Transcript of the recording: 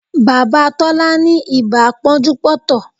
Bàbá Tọ́lá ni ibà pọ́njú pọ́ntọ̀